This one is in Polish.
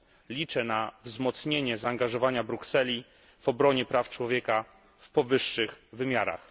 Liczę na wzmocnienie zaangażowania Brukseli w obronie praw człowieka w powyższych wymiarach.